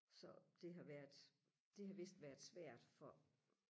så det har været det har vidst været svært for